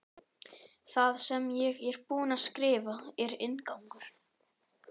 Það sem ég er búin að skrifa er inngangur.